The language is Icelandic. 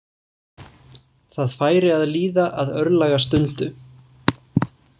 Það færi að líða að örlagastundu.